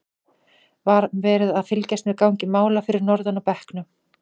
Var verið að fylgjast með gangi mála fyrir norðan á bekknum?